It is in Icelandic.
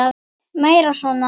Meira svona!